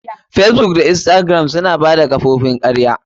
Facebook, instagram da sauransu. Na bada kofofin karya.